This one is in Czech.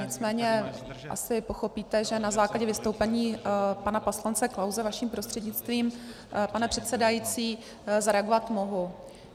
Nicméně asi pochopíte, že na základě vystoupení pana poslance Klause vaším prostřednictvím, pane předsedající, zareagovat mohu.